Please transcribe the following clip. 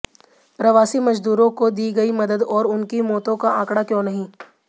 प्रवासी मजदूरों को दी गई मदद और उनकी मौतों का आंकड़ा क्यों नहीं